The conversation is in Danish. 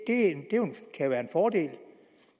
kan være en fordel